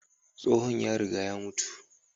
Tsohon ya riga ya mutu.